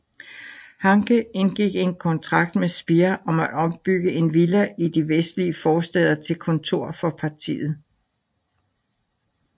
Hanke indgik en kontrakt med Speer om at ombygge en villa i de vestlige forstæder til kontor for partiet